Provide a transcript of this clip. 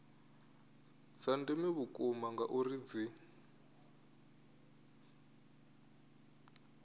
dza ndeme vhukuma ngauri dzi